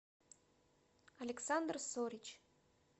александр сорич